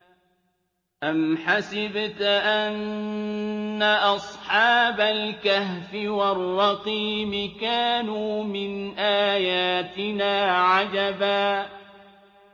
أَمْ حَسِبْتَ أَنَّ أَصْحَابَ الْكَهْفِ وَالرَّقِيمِ كَانُوا مِنْ آيَاتِنَا عَجَبًا